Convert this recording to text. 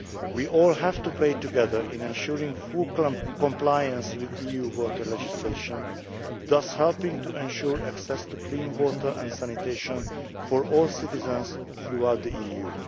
way. We all have to play together in ensuring full compliance with EU water legislation, thus helping to ensure access to clean water and sanitation for all citizens throughout the